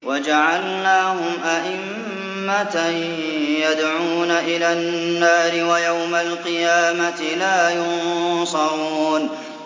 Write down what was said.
وَجَعَلْنَاهُمْ أَئِمَّةً يَدْعُونَ إِلَى النَّارِ ۖ وَيَوْمَ الْقِيَامَةِ لَا يُنصَرُونَ